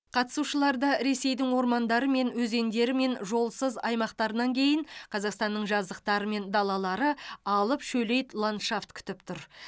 қатысушыларды ресейдің ормандары мен өзендері мен жолсыз аймақтарынан кейін қазақстанның жазықтары мен далалары алып шөлейт ландшафт күтіп тұр